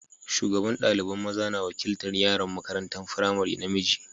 Shugaban dalibain maza na wakiltar yaran makarantan firamari namiji.